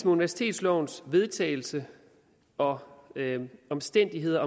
universitetslovens vedtagelse og omstændigheder